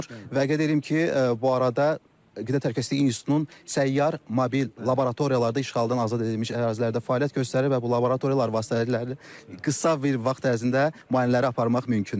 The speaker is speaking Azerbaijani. Və qeyd edim ki, bu arada Qida Təhlükəsizliyi İnstitutunun səyyar mobil laboratoriyaları da işğaldan azad edilmiş ərazilərdə fəaliyyət göstərir və bu laboratoriyalar vasitəsilə qısa bir vaxt ərzində müayinələri aparmaq mümkündür.